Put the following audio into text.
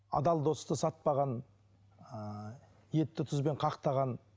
адал досты сатпаған ыыы етті тұзбен қақтаған